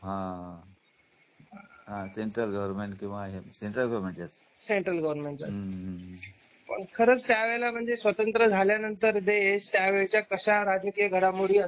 आह हां central government किंवा हे सेंट्रल सेंट्रल गव्हर्नमेंटन सेंट्रल गव्हर्नमेंट, पण ख़रच त्या वेळला म्हणजे स्वतंत्र झाल्यानंतर देश त्यावेळीचा अशा राजकीय घडामोडी असतील